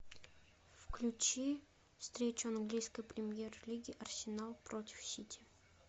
включи встречу английской премьер лиги арсенал против сити